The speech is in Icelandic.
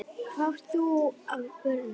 Hvað átt þú af börnum?